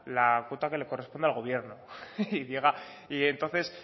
la cuota que le corresponde al gobierno y diga entonces